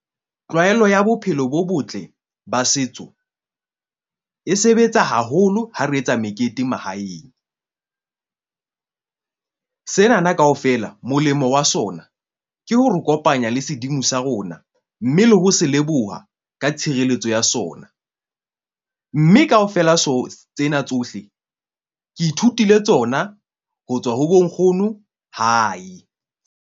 Tlwaelo ya bophelo bo botle ba setso e sebetsa haholo. Ha re etsa mekete mahaeng senana kaofela, molemo wa sona ke ho re kopanya le sedimo sa rona. Mme le ho se leboha ka tshireletso ya sona, mme kaofela tsena tsohle, ke ithutile tsona ho tswa ho bo nkgono hae.